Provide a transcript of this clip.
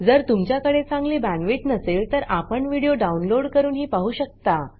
जर तुमच्याकडे चांगली बॅण्डविड्थ नसेल तर आपण व्हिडिओ डाउनलोड करूनही पाहू शकता